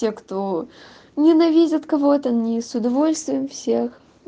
те кто ненавидят кого-то они с удовольствием всех